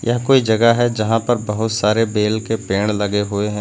यह कोई जगह है जहां पर बहोत सारे बेल के पेड़ लगे हुए हैं।